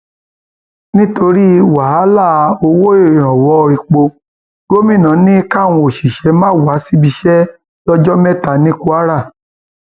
nítorí wàhálà owó ìrànwọ epo gómìnà ni káwọn òṣìṣẹ máa wábi iṣẹ lọjọ mẹta ní kwara